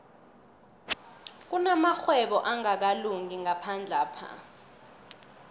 kunamarhwebo angakalungi ngaphandlapha